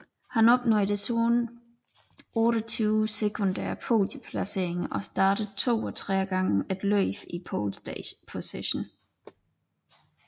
Han opnåede desuden 28 sekundære podieplaceringer og startede 32 gange et løb i pole position